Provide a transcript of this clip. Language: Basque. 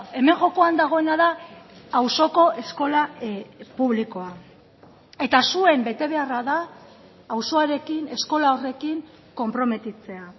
hemen jokoan dagoena da auzoko eskola publikoa eta zuen betebeharra da auzoarekin eskola horrekin konprometitzea